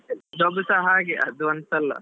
Job ಸಾ ಹಾಗೆ ಅದು ಅಂತಲ್ಲ.